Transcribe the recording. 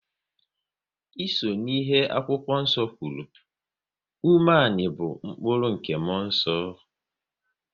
Ịso ihe akwụkwọ nso kwuru, umeani bụ mkpụrụ nke muonso